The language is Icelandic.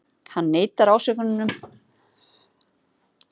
Hann neitar ásökununum